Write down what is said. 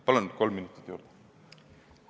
Palun kolm minutit juurde!